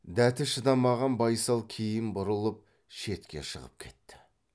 дәті шыдамаған байсал кейін бұрылып шетке шығып кетті